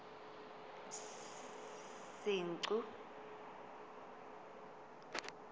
senqu